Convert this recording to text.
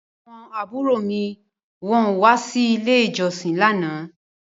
Àwọn àbúrò mi kò wá sí ilé ìjọsìn lánàá